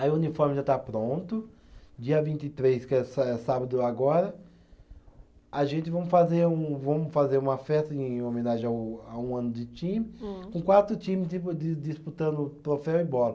Aí o uniforme já está pronto, dia vinte e três, que é sa, é sábado agora, a gente vamos fazer um, vamos fazer uma festa em homenagem a um, a um ano de time, com quatro times de de, disputando o troféu e bola.